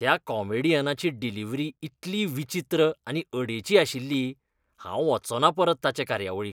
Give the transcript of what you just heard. त्या कॉमेडियनाची डिलिव्हरी इतली विचित्र आनी अडेची आशिल्ली! हांव वच्चों ना परत ताचे कार्यावळीक.